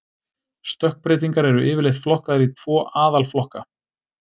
Stökkbreytingar eru yfirleitt flokkaðar í tvo aðalflokka.